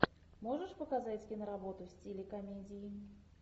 можешь показать киноработу в стиле комедии